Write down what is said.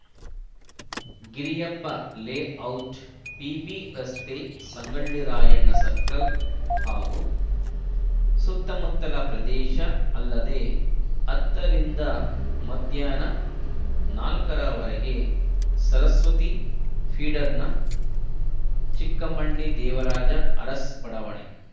Giriyappa layout PB ರಸ್ತೆ Sangolli Rayanna circle ಹಾಗೂ ಸುತ್ತಮುತ್ತಲ ಪ್ರದೇಶ ಅಲ್ಲದೇ ಹತ್ತರಿಂದ ಮಧ್ಯಾಹ್ನ ನಾಲ್ಕರ ವರೆಗೆ ಸರಸ್ವತಿ ಫೀಡರ್‌ನ ಚಿಕ್ಕಮ್ಮಣ್ಣಿ ದೇವರಾಜ ಅರಸ್‌ ಬಡಾವಣೆ